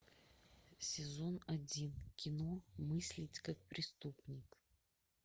сезон один кино мыслить как преступник